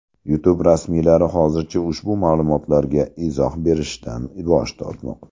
YouTube rasmiylari hozircha ushbu ma’lumotlarga izoh berishdan bosh tortmoqda.